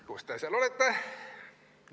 Kus te seal olete?